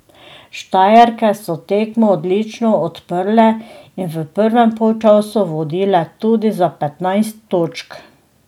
Štajerke so tekmo odlično odprle in v prvem polčasu vodile tudi za petnajst točk.